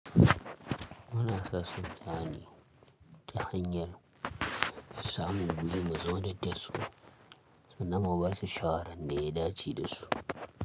Wani kasashen yanzu ta hanyar samun gwiwari mazauniyar tersu, suna ma basu shawaran ne idan ci da su.